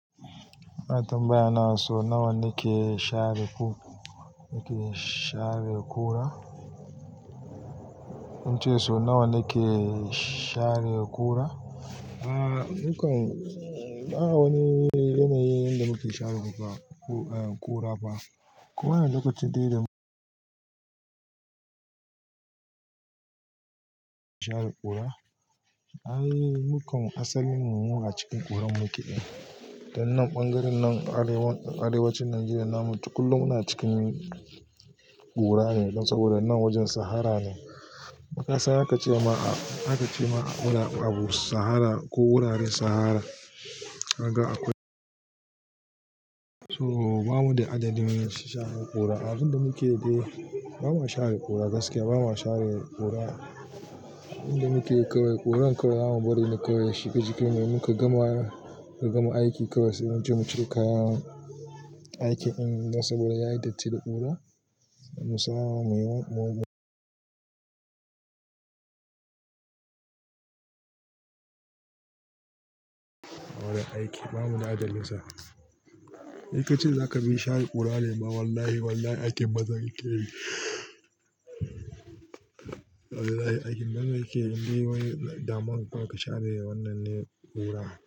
Ana tambaya ne sau nawa nake share ƙura, sau nawa nake share kura Aaa, mukan ba wani yana yi inda muke share ƙura ba. Kuma yana da lokacin dai da share ƙura? Ai mukan asalin mu muna cikin ƙurar muke. Dan nan ɓangaren nan arewacin Najeriya nan mu kullum muna cikin ƙura ne saboda nan wajen Sahara ne. Kasan aka ce ma, aka ce ma a wurin a bu sahara ko wuraren sahara. Kaga akwai. So bamu da adadin share ƙura. Abin da muke dai, ba mu share ƙura gaskiya ba mu share ƙura. Inda muke kawai ƙuran kawai zamu bari ni kawai ya shiga jikin in muka gama, muka gama aiki kawai sai mu je mu ciro kayan aikin saboda yayi datti da ƙura. Mu sa muyi wajen aiki bamuda adadin sa. In kace zaka bi share ƙura ne? Ba wallahi wallahi aikin bazan keyi. Aikin bazan keyi indai wani daman ka share wannan ne ƙura.